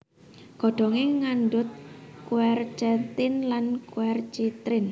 Godhongé ngandhut quercetin lan quercitrin